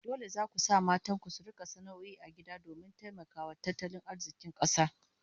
Dole zaku sa matan ku su rika sana'o'i a gida domin taimakawa tattalin arzikin kasa